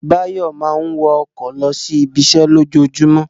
Báyọ̀ máa ń wọ ọkọ̀ lọ sí ibiṣẹ́ lójoojúmọ́